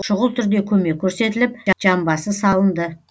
шұғыл түрде көмек көрсетіліп жамбасы салынды